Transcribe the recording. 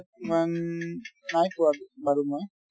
ইমান নাই পোৱা বাৰু মই